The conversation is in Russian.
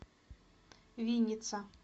винница